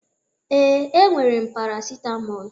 Ee, e nwere m Parasitamọl.